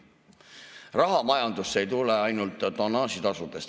Raha majandusse ei tule ainult tonnaažitasudest.